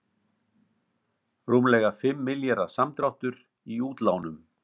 Rúmlega fimm milljarða samdráttur í útlánum